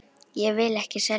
Ég vil ekki selja.